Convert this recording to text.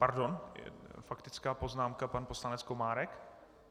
Pardon, faktická poznámka, pan poslanec Komárek.